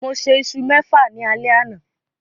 Mo sè isu mẹfa ní alé àna